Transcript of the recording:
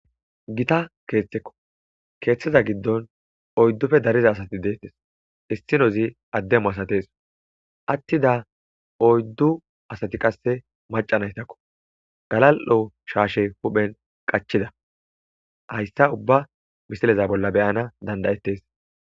Gita keeththekko keeththeza giddon oyddufe dariza asati deettes istinozi addemu asates attida oyddu asati qasse macanaytakko galal'o shaashe huphen qachida hayssa ubba bisileza bolla beyana dandayettes.